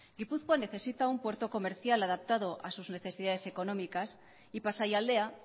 gipuzkoa necesita un puerto comercial adaptado a sus necesidades económicas y pasaialdea